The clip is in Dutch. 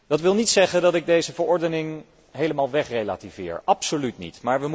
Dat wil niet zeggen dat ik deze verordening helemaal wegrelativeer, absoluut niet.